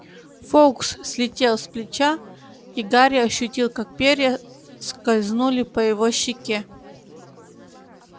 фоукс слетел с плеча и гарри ощутил как перья скользнули по его щеке